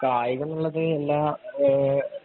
കായികം എന്നുള്ളത് എല്ലാ